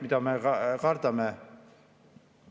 Seda me ka kardame.